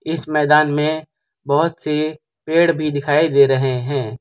इस मैदान में बहुत से पेड़ भी दिखाई दे रहे हैं।